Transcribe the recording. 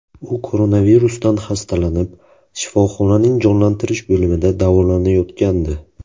U koronavirusdan xastalanib, shifoxonaning jonlantirish bo‘limida davolanayotgandi.